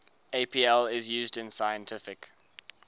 apl is used in scientific